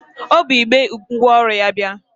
O bu igbe ngwaọrụ ya bịa.